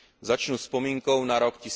Začnu vzpomínkou na rok